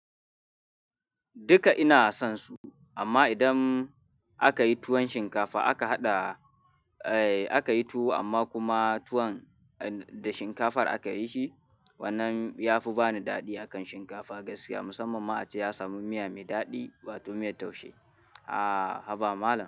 Duka ina son su amma idan aka yi tuwon shinkafa aka haɗa, eh aka yi tuwo amma kuma tuwon da shinkafar aka yi shi wannan ya fi ba ni daɗi akan shinkafa gaskiya musamman ma a ce ya samu miya mai daɗi wato miyar taushe. A haba malam.